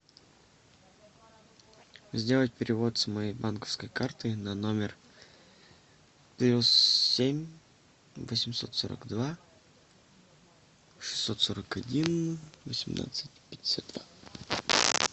сделать перевод с моей банковской карты на номер плюс семь восемьсот сорок два шестьсот сорок один восемнадцать пятьдесят два